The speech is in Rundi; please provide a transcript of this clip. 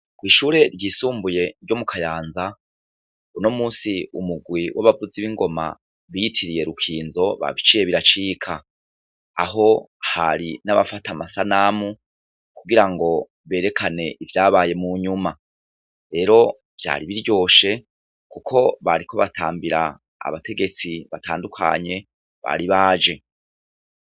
Kw'ishure ryisumbuye ryo mu kayanza, uno musi umugwi w'abavuzi b'ingoma biyitiriye Rukinzo babiciye biracika. Aho hari n'abafata amasanamu kugira ngo berekane ivyabaye mu nyuma. Rero vyari biryoshe kuko bariko batambira abategetsi batandukanye bari baje.